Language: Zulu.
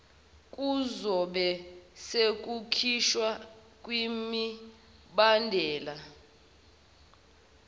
kuzobe sekukhishwa kwimibandela